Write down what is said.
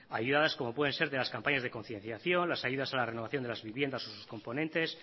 ayudadas como puede ser de las campañas de concienciación las ayudas a la renovación de las viviendas o sus componentes